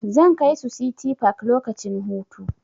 Zan kai su City park lokacin hutu.